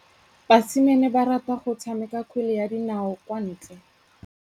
Basimane ba rata go tshameka kgwele ya dinaô kwa ntle.